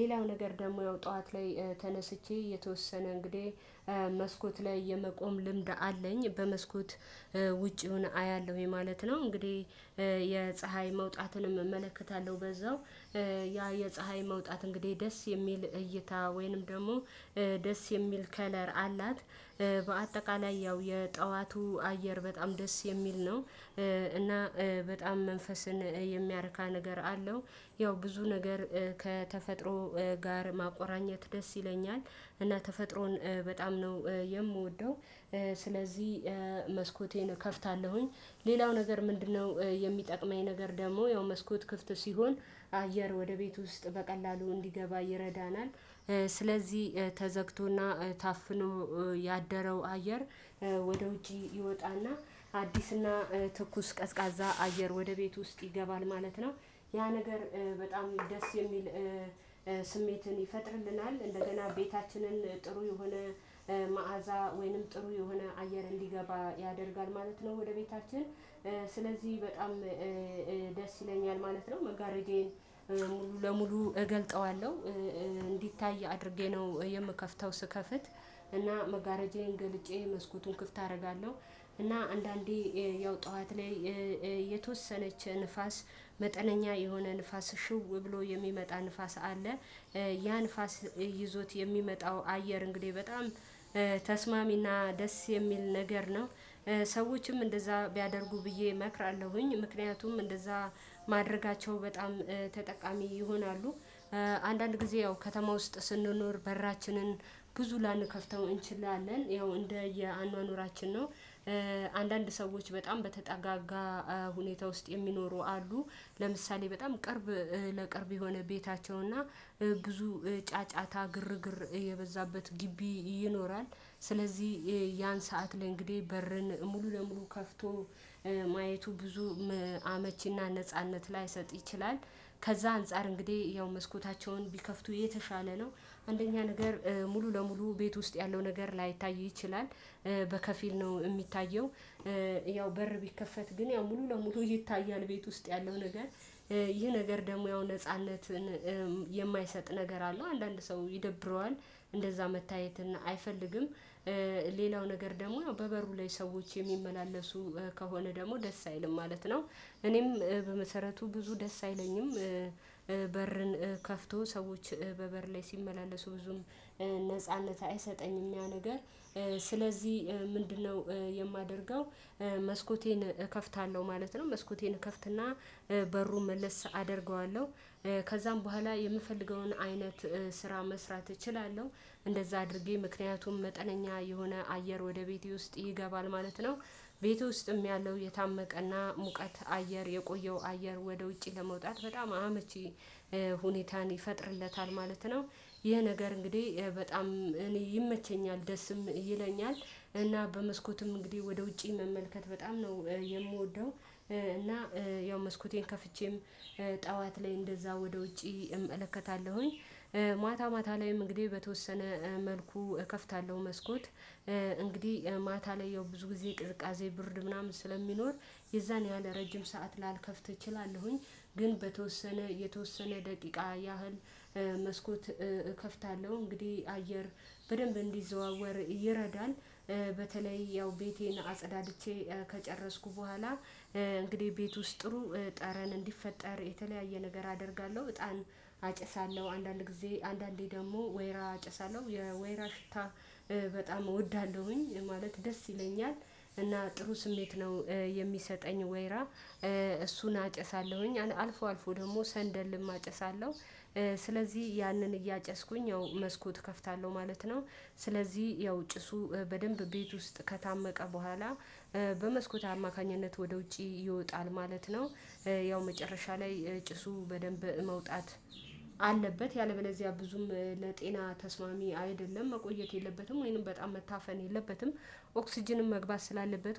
ሌላው ነገር ደግሞ ያው ጠዋት ላይ ተነስቼ የተወሰነ እንግዲህ መስኮት ላይ የመቆም ልምድ አለኝ በመስኮት ውጪውን አያለሁ ይሄ ማለት ነው። እንግዲህ የፀሀይ መውጣትንም እመለከታለሁ በዛው ያ የፀሀይ መውጣት እንግዲህ ደስ የሚል እይታ ወይንም ደግሞ ደስ የሚል ከለር አላት። በአጠቃላይ ያው የጠዋቱ አየር በጣም ደስ የሚል ነው። እና በጣም መንፈስን የሚያርካ ነገር አለው። ያው ብዙ ነገር ከተፈጥሮ ጋር ማቆራኘት ደስ ይለኛል እና ተፈጥሮን በጣም ነው የምወደው። ስለዚህ መስኮቴን እከፍታለሁኝ ሌላው ነገር ምንድነው? የሚጠቅመኝ ነገር ደግሞ ያው መስኮት ክፍት ሲሆን አየር ወደ ቤት ውስጥ በቀላሉ እንዲገባ ይረዳናል። ስለዚህ ተዘግቶና ታፍኖ ያደረው አየር። ወደ ውጪ ይወጣና አዲስና ትኩስ ቀዝቃዛ አየር ወደ ቤት ውስጥ ይገባል ማለት ነው። ያ ነገር በጣም ደስ የሚል ስሜትን ይፈጥርልናል። እንደገና ቤታችንን ጥሩ የሆነ መዓዛ ወይንም ጥሩ የሆነ አየር እንዲገባ ያደርጋል ማለት ነው። ወደ ቤታችን ስለዚህ በጣም ደስ ይለኛል ማለት ነው። መጋረጃዬን ሙሉ ለሙሉ እገልጠዋለሁ እንዲታይ አድርጌ ነው የምከፍተው ስከፍት እና መጋረጃዬን ገልጬ መስኮቱን ክፍት አደርጋለሁ። እና አንዳንዴ ያው ጠዋት ላይ የተወሰነች ንፋስ መጠነኛ የሆነ ንፋስ ሽው ብሎ የሚመጣ ንፋስ አለ። ያ ንፋስ ይዞት የሚመጣው አየር እንግዲህ በጣም በተስማሚና ደስ የሚል ነገር ነው። ሰዎችም እንደዛ ቢያደርጉ ብዬ እመክራለሁኝ ምክንያቱም እንደዛ ማድረጋቸው በጣም ተጠቃሚ ይሆናሉ። አንዳንድ ጊዜ ያው ከተማ ውስጥ ስንኖር በራችንን ብዙ ላንከፍተው እንችላለን ያው እንደ የአኗኗራችን ነው። አንዳንድ ሰዎች በጣም በተጠጋጋ ሁኔታ ውስጥ የሚኖሩ አሉ። ለምሳሌ በጣም ቅርብ ለቅርብ የሆነ ቤታቸው እና ብዙ ጫጫታ ግርግር የበዛበት ግቢ ይኖራል። ስለዚህ ያን ሰዓት ላይ እንግዲህ በርን ሙሉ ለሙሉ ከፍቶ ማየቱ ብዙ አመቺና ነጻነት ላይሰጥ ይችላል። ከዛ አንፃር እንግዲህ ያው መስኮታቸውን ቢከፍቱ የተሻለ ነው። አንደኛ ነገር ሙሉ ለሙሉ ቤት ውስጥ ያለው ነገር ላይታይ ይችላል በከፊል ነው የሚታየው። ያው በር ቢከፈት ግን ያው ሙሉ ለሙሉ ይታያል ቤት ውስጥ ያለው ነገር። ይህ ነገር ደግሞ ያው ነጻነትን የማይሰጥ ነገር አለው አንዳንድ ሰው ይደብረዋል። እንደዛ መታየት እና አይፈልግም። ሌላው ነገር ደግሞ በበሩ ላይ ሰዎች የሚመላለሱ ከሆነ ደግሞ ደስ አይልም ማለት ነው። እኔም በመሰረቱ ብዙ ደስ አይለኝም። በርን ከፍቶ ሰዎች በበር ላይ ሲመላለሱ ብዙም ነጻነት አይሰጠኝም ያ ነገር። ስለዚህ ምንድነው? የማደርገው መስኮቴን እከፍታለሁ ማለት ነው። መስኮቴን እከፍትና በሩን መልስ አደርገዋለሁ። ከዛም በኋላ የምፈልገውን አይነት ስራ መስራት እችላለሁ። እንደዛ አድርጌ ምክንያቱም መጠነኛ የሆነ አየር ወደ ቤቴ ውስጥ ይገባል ማለት ነው። ቤቴ ውስጥም ያለው የታመቀና ሙቀት አየር የቆየው አየር ወደ ውጪ ለመውጣት በጣም አመቺ ሁኔታን ይፈጥርለታል ማለት ነው። ይህ ነገር እንግዲህ በጣም እኔ ይመቸኛል ደስም ይለኛል። እና በመስኮትም እንግዲህ ወደ ውጪ መመልከት በጣም ነው የምወደው። እና ያው መስኮቴን ከፍቼም ጠዋት ላይ እንደዛ ወደ ውጪ እመለከታለሁኝ። ማታ ማታ ላይም እንግዲህ በተወሰነ መልኩ እከፍታለሁ መስኮት እንግዲህ ማታ ላይ ያው ብዙ ጊዜ ቅዝቃዜ ብርድ ምናምን ስለሚኖር የዛን ያህል ረጅም ሰዓት ላልከፍት እችላለሁኝ። ግን በተወሰነ የተወሰነ ደቂቃ ያህል መስኮት እከፍታለሁ እንግዲህ አየር በደንብ እንዲዘዋወር ይረዳል። በተለይ ያው ቤቴን አጸዳድቼ ከጨረስኩ በኋላ እንግዲህ ቤት ውስጥ ጥሩ ጠረን እንዲፈጠር የተለያየ ነገር አደርጋለሁ። እጣን አጨሳለሁ አንዳንድ ጊዜ አንዳንዴ ደግሞ ወይራ አጨሳለሁ ወይራ ሽታ በጣም እወዳለሁኝ ማለት ደስ ይለኛል። እና ጥሩ ስሜት ነው። የሚሰጠኝ ወይራ እሱን አጨሳለሁኝ አልፎ አልፎ ደግሞ ሰንደልም አጨሳለሁ። ስለዚህ ያንን እያጨስኩኝ ያው መስኮት እከፍታለሁ ማለት ነው። ስለዚህ ያው ጭሱ በደንብ ቤት ውስጥ ከታመቀ በኋላ በመስኮት አማካኝነት ወደ ውጪ ይወጣል ማለት ነው። ያው መጨረሻ ላይ ጭሱ በደንብ መውጣት አለበት ያለበለዚያ ብዙም ለጤና ተስማሚ አይደለም መቆየት የለበትም ወይንም በጣም መታፈን የለበትም። ኦክስጅንም መግባት ስላለበት ወይንም